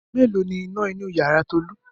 Mélòó ni iná inú ìyàrá Tolú?